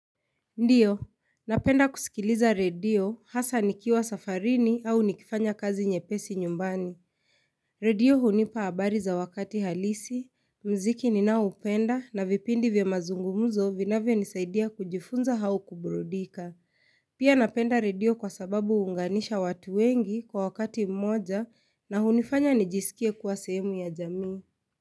Ndiyo, napenda kusikiliza redio hasa nikiwa safarini au nikifanya kazi nyepesi nyumbani. Radio hunipa habari za wakati halisi, mziki ninaoupenda na vipindi vya mazungumzo vinavyo nisaidia kujifunza au kuburudika. Pia napenda redio kwa sababu huunganisha watu wengi kwa wakati mmoja na hunifanya nijisikie kuwa sehemu ya jamii.